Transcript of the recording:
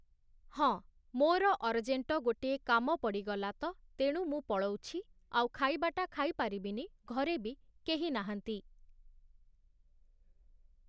ହଁ, ମୋର ଅରଜେଣ୍ଟ ଗୋଟିଏ କାମ ପଡ଼ିଗଲା ତ ତେଣୁ ମୁଁ ପଳଉଛି, ଆଉ ଖାଇବାଟା ଖାଇପାରିବିନି ଘରେ ବି କେହି ନାହାନ୍ତି ।